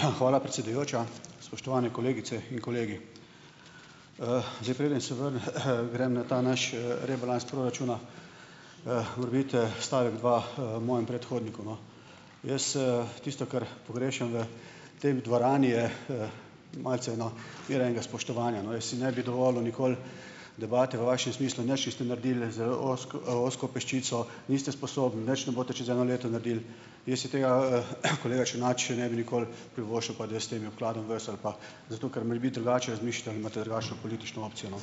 Hvala, predsedujoča. Spoštovani kolegice in kolegi! Zdaj, preden se grem na ta naš, rebalans proračuna, morebiti, stavek, dva, mojemu predhodniku, no. Jaz, - tisto, kar pogrešam v tej dvorani, je, malce ena mera enega spoštovanja, no. Jaz si ne bi dovolil nikoli debate v vašem smislu, nič niste naredili z ozko peščico, niste sposobni, nič ne boste čez eno leto naredili - jaz si tega, kolega Črnač, ne bi nikoli privoščil, pa da jaz s temi obkladam vas ali pa - zato ker morebiti drugače razmišljate ali imate drugačno politično opcijo, no.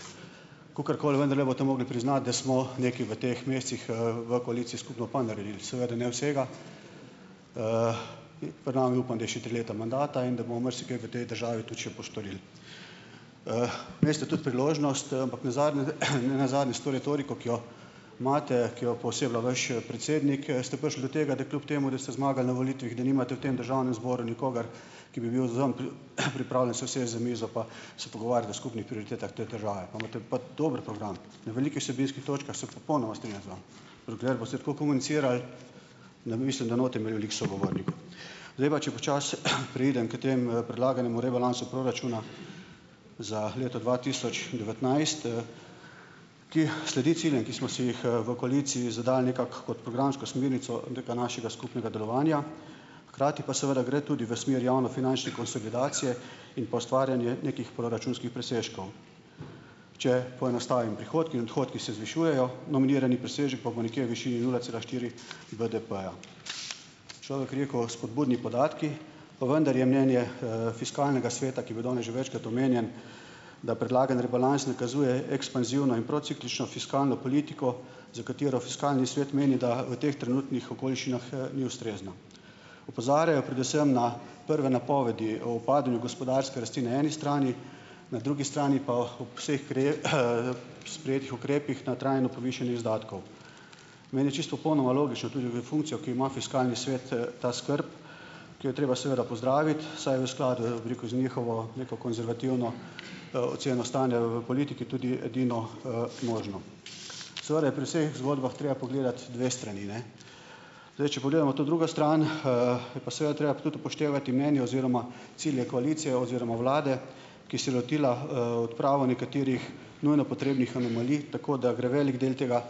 Kakorkoli, vendarle boste mogli priznati, da smo nekaj v teh mesecih, v koaliciji skupno pa naredili. Seveda ne vsega. Pred nami, upam, da je še tri leta mandata in da bomo marsikaj v tej državi tudi še postorili. Imeli ste tudi priložnost - ampak nazadnje, nenazadnje s to retoriko, ki jo imate, ki jo pooseblja vaš, predsednik, ste prišli do tega, da kljub temu, da ste zmagali na volitvah, da nimate v tem državnem zboru nikogar, ki bi bil z vami, pripravljen se usesti za mizo pa se pogovarjati o skupnih prioritetah te države. Pa imate pa dober program. Na velikih vsebinskih točkah se popolnoma strinjam z vami. Dokler boste tako komunicirali, ne - mislim, da ne boste imeli veliko sogovornikov. Zdaj pa, če počasi, preidem k temu, predlaganemu rebalansu proračuna za leto dva tisoč devetnajst, - ki sledi ciljem, ki smo si jih, v koaliciji zadali nekako kot programsko smernico tega našega skupnega delovanja, hkrati pa seveda gre tudi v smer javnofinančne konsolidacije in pa ustvarjanje nekih proračunskih presežkov. Če poenostavim. Prihodki in odhodki se zvišujejo, nominirani presežek pa bo nekje v višini nula cela štiri BDP-ja. Človek rekel - spodbudni podatki, pa vendar je mnenje, Fiskalnega sveta, ki bil danes že večkrat omenjen, da predlagani rebalans nakazuje ekspanzivno in prociklično fiskalno politiko, za katero Fiskalni svet meni, da v teh trenutnih okoliščinah, ni ustrezna. Opozarjajo predvsem na prve napovedi o upadanju gospodarske rasti na eni strani, na drugi strani pa ob vseh sprejetih ukrepih na trajno povišanje izdatkov. Meni je čisto popolnoma logično - tudi v funkcijo, ki jo ima Fiskalni svet, - ta skrb, ki jo je treba seveda pozdraviti, saj je v skladu, bi rekel, z njihovo neko konzervativno, oceno stanja v politiki, tudi edino, možno. Seveda je pri vseh zgodbah treba pogledati dve strani, ne. Zdaj, če pogledamo to drugo stran, - je pa seveda treba tudi upoštevati mnenje oziroma cilje koalicije oziroma vlade, ki se je lotila, odprave nekaterih nujno potrebnih anomalij, tako da gre velik del tega,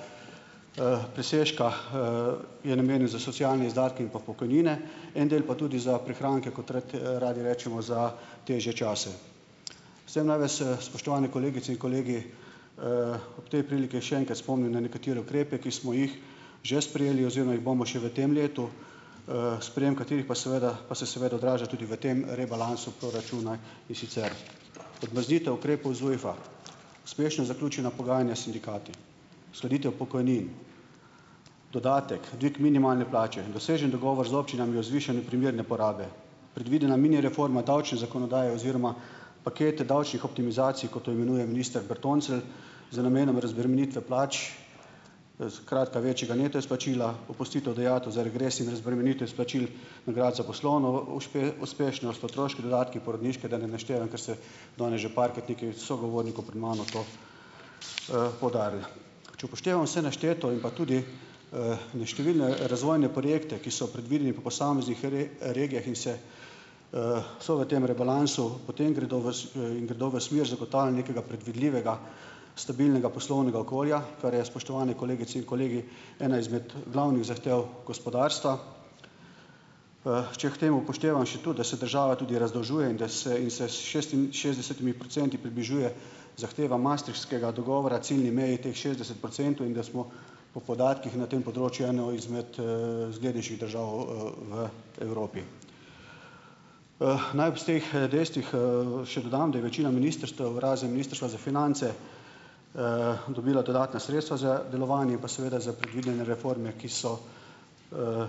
presežka, - je namenjen za socialne izdatke in pa pokojnine. En del pa tudi za prihranke, kot radi rečemo, za težje čase. Vse naj vas, spoštovani kolegice in kolegi, ob tej priliki še enkrat spomnim, na nekatere ukrepe, ki smo jih že sprejeli oziroma jih bomo še v tem letu. Sprejem katerih pa seveda pa se seveda odraža tudi v tem rebalansu proračuna, in sicer odmrznitev ukrepov ZUJF-a; uspešno zaključena pogajanja s sindikati; uskladitev pokojnin, dodatek; dvig minimalne plače; dosežen dogovor z občinami o zvišanju primerne porabe; predvidena mini reforma davčne zakonodaje oziroma paket davčnih optimizacij, kot jo imenuje minister Bertoncelj, z namenom razbremenitve plač, skratka, večjega neto izplačila; opustitev dajatev za regres in razbremenitev izplačil nagrad za poslovno uspešnost; otroški dodatki; porodniške, da ne naštevam, ker se danes že parkrat nekaj sogovornikov pred mano to, poudarilo. Če upoštevam vse našteto in pa tudi, neštevilne razvojne projekte, ki so predvideni po posameznih regijah in se, so v tem rebalansu, potem gredo v - in gredo v smer zagotavljanja nekega predvidljivega, stabilnega poslovnega okolja, kar je, spoštovane kolegice in kolegi, ena izmed glavnih zahtev gospodarstva. Če k temu upoštevam še tudi, da se država tudi razdolžuje in da se in se s šestinšestdesetimi procenti približuje zahtevam Maastrichtskega dogovora, ciljni meji teh šestdeset procentov, in da smo po podatkih na tem področju ena izmed, zglednejših držav, v Evropi. Naj ob teh, dejstvih, še dodam, da je večina ministrstev, razen Ministrstva za finance, dobila dodatna sredstva za delovanje in pa seveda za predvidene reforme, ki so,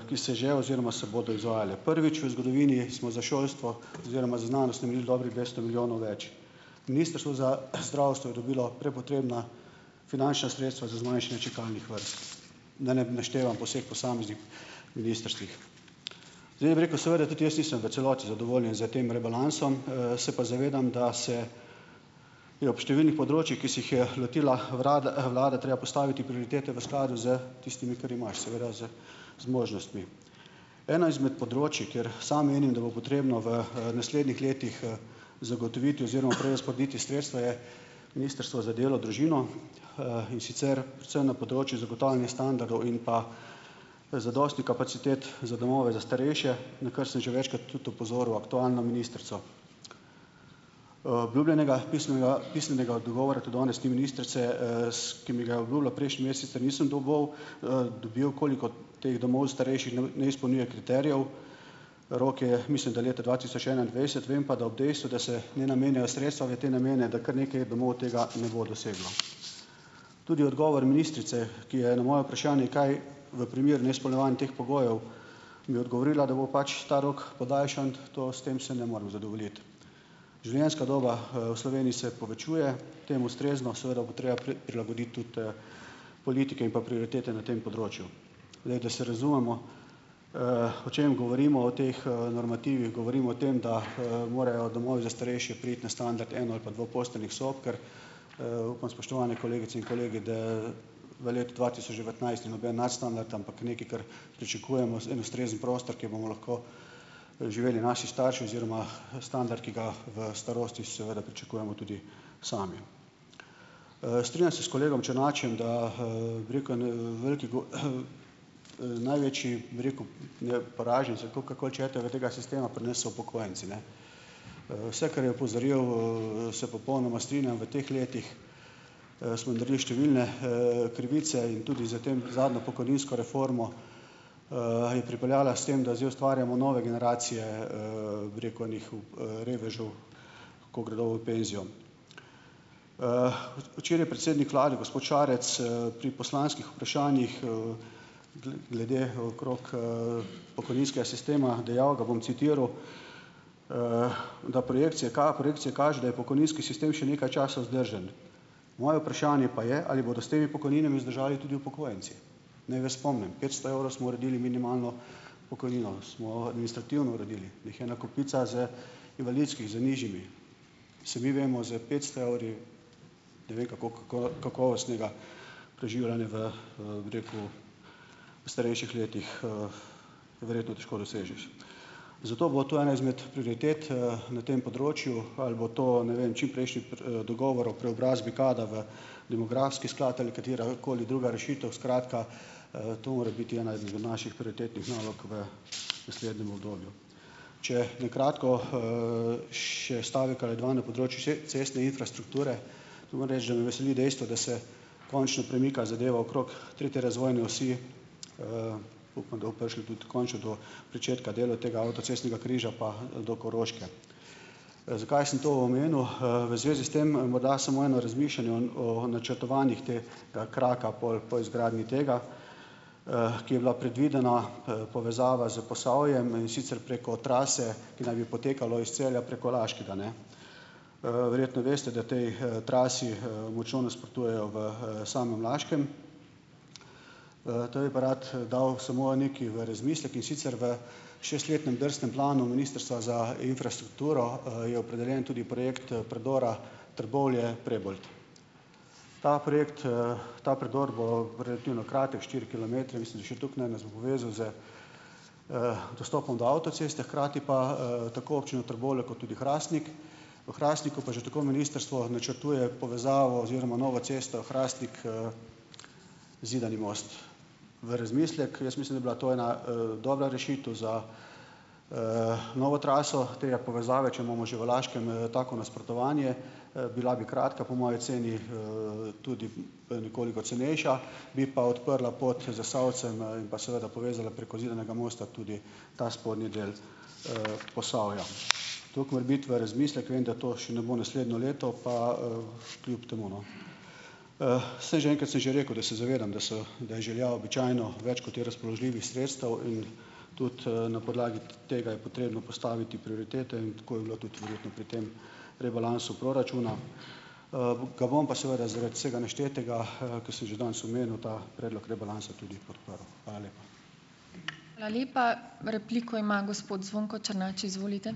ki se že oziroma se bodo izvajale. Prvič v zgodovini smo za šolstvo oziroma za znanost namenili dobrih dvesto milijonov več. Ministrstvo za, zdravstvo je dobilo prepotrebna finančna sredstva za zmanjšanje čakalnih vrst. Da ne naštevam po vseh posameznih ministrstvih. Zdaj, da bi rekel, seveda tudi jaz nisem v celoti zadovoljen s tem rebalansom, se pa zavedam, da se je ob številnih področjih, ki se jih je lotila vrada vlada, treba postaviti prioritete v skladu s tistimi, kar imaš, seveda z zmožnostmi. Eno izmed področij, kjer sam menim, da bo potrebno v, naslednjih letih, zagotoviti oziroma prerazporediti sredstva, je Ministrstvo za delo, družino, in sicer, predvsem na področju zagotavljanja standardov in pa, zadosti kapacitet za domove za starejše, na kar sem že večkrat tudi opozoril aktualno ministrico. Obljubljenega pismega pisnega odgovora tudi danes ni ministrice, ki mi ga je obljubila prejšnji mesec, sicer nisem dobival, dobil, koliko teh domov starejših neu ne izpolnjuje kriterijev. Rok je, mislim, da leta dva tisoč enaindvajset, vem pa, da ob dejstvu, da se ne namenjajo sredstva v te namene, da kar nekaj domov tega ne bo doseglo. Tudi odgovor ministrice, ki je na moje vprašanje, kaj v primeru neizpolnjevanja teh pogojev, mi je odgovorila, da bo pač ta rok podaljšan - to, s tem se ne morem zadovoljiti. Življenjska doba, v Sloveniji se povečuje. Temu ustrezno, seveda bo treba prilagoditi tudi, politike in pa prioritete na tem področju. Zdaj, da se razumemo, o čem govorimo o teh, normativih, govorimo o tem, da, morejo domovi za starejše priti na standard eno- ali pa dvoposteljnih sob, ker, upam, spoštovane kolegice in kolegi, da v letu dva tisoč devetnajst, ni noben nadstandard, ampak nekaj, kar pričakujemo, en ustrezen prostor, kjer bomo lahko, živeli naši starši oziroma, standard, ki ga v starosti seveda pričakujemo tudi sami. Strinjam se s kolegom Černačem, da, bi rekel, en velik največji, bi rekel, poraženci ali kakor koli hočete, verjetno tega sistema pri nas so upokojenci. ne. Vse, kar je opozoril, se popolnoma strinjam, v teh letih, smo naredili številne, krivice in tudi za tem, zadnjo pokojninsko reformo, je pripeljala s tem, da zdaj ustvarjamo nove generacije, bi rekel, enih revežev, ko gredo v "penzijo". Včeraj je predsednik vlade, gospod Šarec, pri poslanskih vprašanjih, glede, okrog, pokojninskega sistema dejal, ga bom citiral: "... da projekcija projekcija kaže, da je pokojninski sistem še nekaj časa vzdržen." Moje vprašanje pa je, ali bodo s temi pokojninami vzdržali tudi upokojenci. Naj vas spomnim, petsto evrov smo uredili minimalno pokojnino. Smo administrativno uredili. Jih je ena kopica, z invalidskih z nižjimi. Sami vemo, s petsto evri, ne vem, kako kakovostnega preživljanja v, bi rekel, v starejših letih, verjetno težko dosežeš. Zato bo to ena izmed prioritet, na tem področju. Ali bo to, ne vem, čimprejšnji dogovor o preobrazbi kdaj v demografski sklad ali katerakoli druga rešitev, skratka, to more biti ena izmet naših prioritetnih nalog v naslednjem obdobju. Če na kratko, še stavek ali dva na področju cestne infrastrukture. Moram reči, da me veseli dejstvo, da se končno premika zadeva okrog tretje razvojne osi, pa upam, da bo prišli tudi končno do pričetka dela tega avtocestnega križa, pa do Koroške. Zakaj sem to omenil? V zvezi s tem, morda samo eno razmišljanje o o načrtovanjih tega kraka, pol po izgradnji tega, ki je bila predvidena, povezava s Posavjem, in sicer preko trase, ki naj bi potekalo iz Celja preko Laškega, ne. Verjetno veste, da tej, trasi, močno nasprotujejo v, samem Laškem. Te bi pa rad, dal samo nekaj v razmislek, in sicer v šestletnem drsnem planu Ministrstva za infrastrukturo, je opredeljen tudi projekt predora Trbovlje-Prebold. Ta projekt, ta predor bo relativno kratek, štiri kilometre, mislim, da še toliko ne, nas bo povezal z dostopom do avtoceste, hkrati pa, tako občino Trbovlje kot tudi Hrastnik. V Hrastniku pa že tako ministrstvo načrtuje povezavo oziroma novo cesto Hrastnik, -Zidani most. V razmislek, jaz mislim, da bi bila to ena, dobra rešitev za, novo traso. Tega povezave, če imamo že v Laškem, tako nasprotovanje, bila bi kratka, po moji oceni, tudi, nekoliko cenejša, bi pa odprla pot Zasavcem, in pa seveda povezala preko Zidanega mosta tudi ta spodnji del, Posavja. Toliko morebiti v razmislek, vem, da to še ne bo naslednje leto pa, kljub temu, no. Saj že enkrat sem že rekel, da se zavedam, da so da je želja običajno več, kot je razpoložljivih sredstev in tudi, na podlagi tega je potrebno postaviti prioritete in tako je bilo tudi verjetno pri tem rebalansu proračuna. Ga bom pa seveda zaradi vsega naštetega, ko sem že danes omenil, ta predlog rebalansa tudi podprl. Hvala lepa.